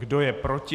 Kdo je proti?